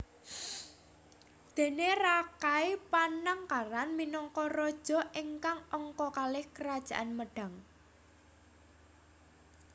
Déne Rakai Panangkaran minangka raja ingkang angka kalih Kerajaan Medang